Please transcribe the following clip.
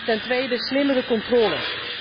Ten tweede slimmere controles.